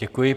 Děkuji.